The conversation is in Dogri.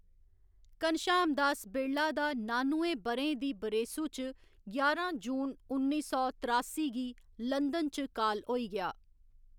घनश्याम दास बिड़ला दा नानुएं ब'रें दी बरेसू च ञारां जून उन्नी सौ त्रासी गी लंदन च काल होई गेआ।